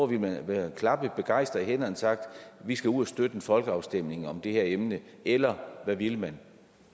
ville man have klappet begejstret i hænderne og have sagt vi skal ud og støtte en folkeafstemning om det her emne eller hvad ville man